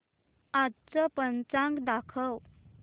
आजचं पंचांग दाखव